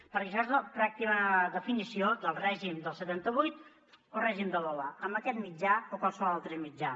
però això és la pràctica definició del règim del setanta vuit o règim de l’hola amb aquest mitjà o qualsevol altre mitjà